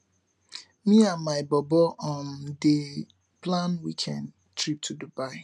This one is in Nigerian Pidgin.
me and my bobo um dey plan weekend trip to dubai